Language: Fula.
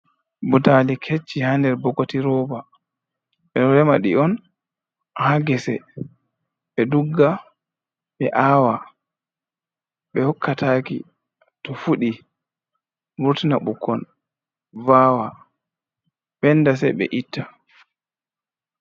Butali kecci ha nder bokoti roba, ɓeɗo rema ɗi on ha gese, ɓe dugga, ɓe awa, ɓe hokkataki, to fuɗi vurtina ɓukkon vawa ɓenda se ɓe itta.